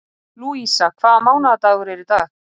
Lúísa, hvaða mánaðardagur er í dag?